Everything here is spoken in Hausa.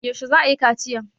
Yaushe za a yi kaciyan?